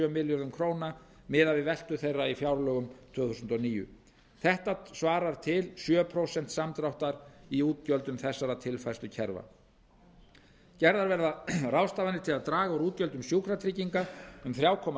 milljörðum króna miðað við veltu þeirra í fjárlögum tvö þúsund og níu þetta svarar til sjö prósent samdráttar í útgjöldum þessara tilfærslukerfa gerðar verða ráðstafanir til að draga úr útgjöldum sjúkratrygginga um þrjú komma